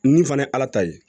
Nin fana ye ala ta ye